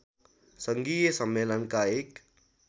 सङ्घीय सम्मेलनका एक